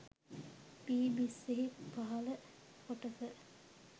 වී බිස්සෙහි පහල කොටස